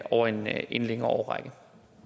over en en længere årrække